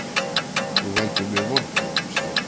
Þú veldur mér vonbrigðum, Sif.